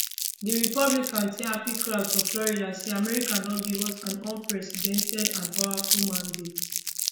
di republican tell happy crowds for florida say america don give us an unprecedented and powerful mandate